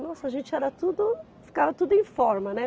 Nossa, a gente era tudo, ficava tudo em forma, né?